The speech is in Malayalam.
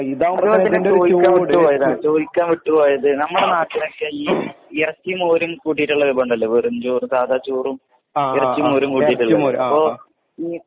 അത് പോലെ തന്നെ ചോയിക്കാൻ വിട്ട് പോയതാണ് ചോയിക്കാൻ വിട്ട് പോയത് നമ്മളെ നാട്ടിലൊക്കെ ഈ ഇറച്ചി മോരും കൂട്ടീട്ട്ള്ള വിഭവണ്ടല്ലോ വെറും ചോറും സാധാചോറും ഇറച്ചി മോരും കൂട്ടീട്ട്ള്ളത് അപ്പൊ ഈ